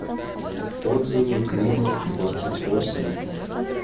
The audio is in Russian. отзывы климатдвадцатьвосемь